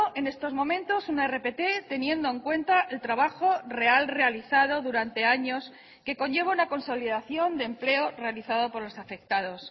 en estos momentos una rpt teniendo en cuenta el trabajo real realizado durante años que conlleva una consolidación de empleo realizado por los afectados